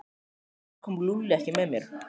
Af hverju kom Lúlli ekki með þér?